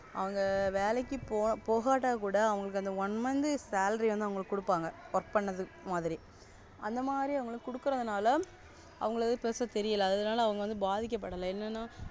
அவங்க வேலைக்கு போககட்டி கூட அவங்களுக்கு One month salary அவங்களுக்கு கொடுப்பாங்க Work பண்ணது மாதிரி அந்த மாதிரி அவங்க கொடுக்குறதுனால அவங்கலுக்கு Pressure தெரியல. அதுனால வந்து பாதிக்கப்படலாம். என்னன்ன.